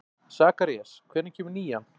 Sakarías, hvenær kemur nían?